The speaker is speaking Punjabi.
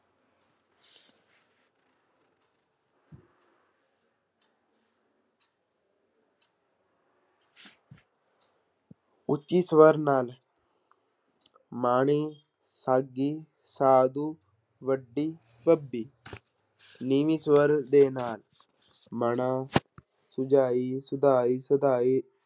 ਉੱਚੀ ਸਵਰ ਨਾਲ ਮਾਣੀ ਸਾਧੂ, ਵੱਡੀ ਨੀਵੀਂ ਸਵਰ ਦੇ ਨਾਂ ਹੈ ਮਣਾ